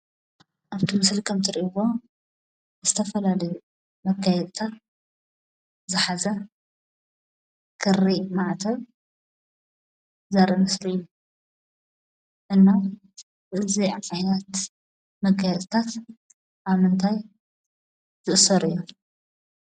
ኣብቲ ምስሊ ከምትሪእይዎ ዝተፈላለዩ መጋየፂታት ዝሓዘ ክሪ ማዕተብ ዘርኢ ምስሊ እዩ። እና እዚ ዓይነት መጋየፂታት ኣብ ምንታይ ዝእሰሩ እዮም?